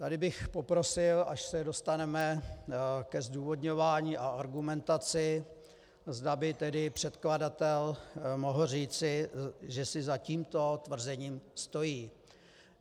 Tady bych poprosil, až se dostaneme ke zdůvodňování a argumentaci, zda by tedy předkladatel mohl říci, že si za tímto tvrzením stojí.